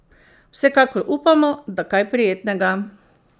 Vsekakor upamo, da kaj prijetnega!